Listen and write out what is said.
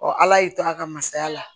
ala y'i to a ka masaya la